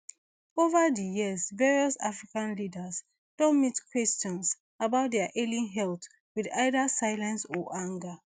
ova di years various african leaders don meet questions about dia ailing health wit either silence or anger